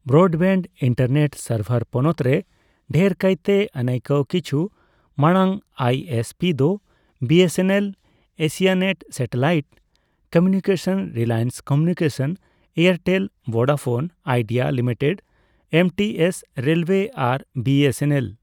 ᱵᱨᱚᱴᱵᱮᱜ internet server ᱯᱚᱱᱚᱛ ᱨᱮ ᱰᱟᱹᱨ ᱠᱟᱭᱛᱮ ᱟᱹᱱᱟᱭ ᱠᱟᱣ, ᱠᱤᱪᱷᱩ ᱢᱟᱲᱟᱝ ᱟᱭ, ᱮᱥᱹᱯᱤ ᱫᱚ B, S, N, L Asianet satellite communication, Reliance communication, Airtel, Vodafone Idea limited, MTS ᱨᱮᱞᱚᱭᱮ ᱟᱨ ᱵᱷᱤᱹᱮᱥᱹᱮᱱᱹᱮᱞ ᱾